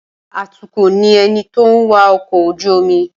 Atukọ̀ ni ẹni tó ń wa ọkọ̀ ojú-omi